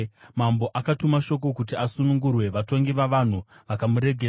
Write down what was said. Mambo akatuma shoko kuti asunungurwe, vatongi vavanhu vakamuregedza.